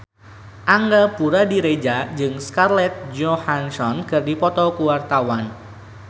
Angga Puradiredja jeung Scarlett Johansson keur dipoto ku wartawan